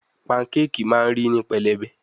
Pancake ma ri ni pelebe